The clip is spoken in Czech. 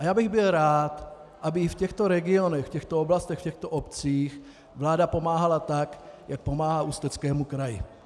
A já bych byl rád, aby i v těchto regionech, v těchto oblastech, v těchto obcích vláda pomáhala tak, jak pomáhá Ústeckému kraji.